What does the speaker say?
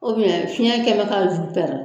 suɲɛ kɛ bɛ ka zu tɛrɛ.